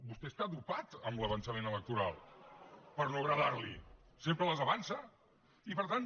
vostè està dopat amb l’avançament electoral per no agradarli sempre les avança i per tant